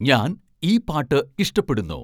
ഞാൻ ഈ പാട്ട് ഇഷ്ട്ടപ്പെടുന്നു